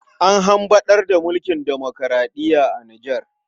An hamɓarar da mulkin demoraɗiya a Nijar.